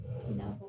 I na fɔ